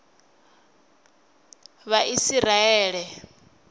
vhaisiraele